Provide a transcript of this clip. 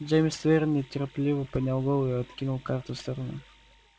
джеймс твер нетерпеливо поднял голову и откинул карты в сторону